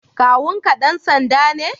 Kawun ka dan sanda ne?